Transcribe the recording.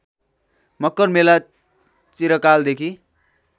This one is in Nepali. मकर मेला चिरकालदेखि